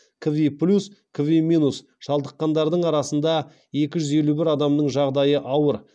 квиплюс квиминус шалдыққандардың арасында екі жүз елу бір адамның жағдайы ауыр